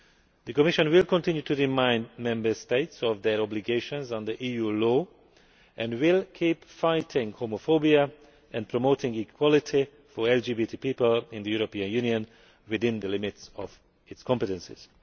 The Commission will continue to remind Member States of their obligations under EU law and will keep fighting homophobia and promoting equality for LGBT people in the European Union within the limits of its competencies.